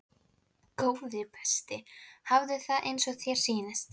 Góði besti, hafðu það eins og þér sýnist